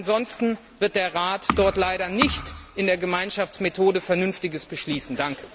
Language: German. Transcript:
Ansonsten wird der Rat dort leider nicht nach der Gemeinschaftsmethode Vernünftiges beschließen.